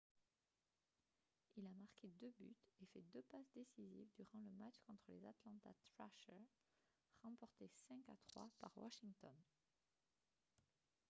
il a marqué 2 buts et fait 2 passes décisives durant le match contre les atlanta trashers remporté 5-3 par washington